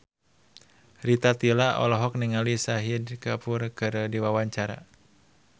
Rita Tila olohok ningali Shahid Kapoor keur diwawancara